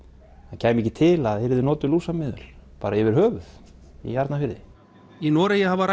það kæmi ekki til að yrðu notuð lúsameðöl bara yfir höfuð í Arnarfirði í Noregi hafa